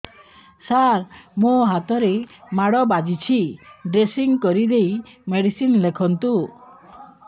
ସାର ମୋ ହାତରେ ମାଡ଼ ବାଜିଛି ଡ୍ରେସିଂ କରିଦେଇ ମେଡିସିନ ଲେଖନ୍ତୁ